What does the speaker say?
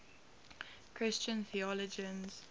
christian theologians